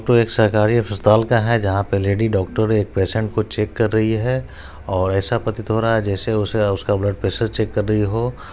तो एक सरकारी अस्पताल का है जहां पे लेडी डॉक्टर एक पेशेंट को चेक कर रही है और ऐसा प्रतीत हो रहा है जैसे उसे उसका ब्लड प्रेशर चेक कर रही हो।